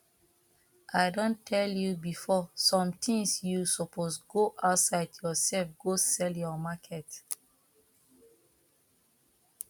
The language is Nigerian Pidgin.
i don tell you before sometimes you suppose go outside yourself go sell your market